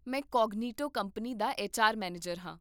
ਮੈਂ Cognito company ਦਾ HR manager ਹਾਂ